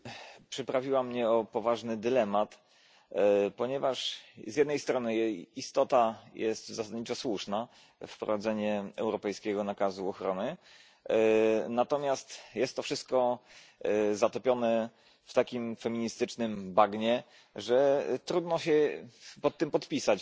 przyprawiła mnie o poważny dylemat, ponieważ z jednej strony jej istota jest zasadniczo słuszna wprowadzenie europejskiego nakazu ochrony, natomiast jest to wszystko zatopione w takim feministycznym bagnie, że trudno się pod tym podpisać.